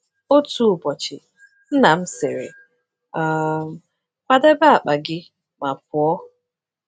Otu ụbọchị, nna m sịrị, um “Kwadebe akpa gị ma pụọ!”